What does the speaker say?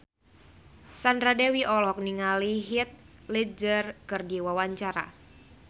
Sandra Dewi olohok ningali Heath Ledger keur diwawancara